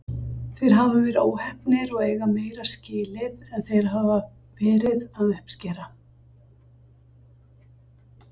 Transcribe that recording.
Þeir hafa verið óheppnir og eiga meira skilið en þeir hafa verið að uppskera.